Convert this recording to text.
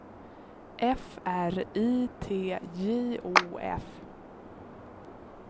F R I T J O F